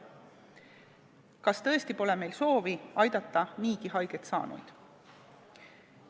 Kas tõesti pole meil soovi aidata niigi haiget saanuid?